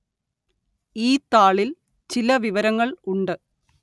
ഈ താളില്‍ ചില വിവരങ്ങള്‍ ഉണ്ട്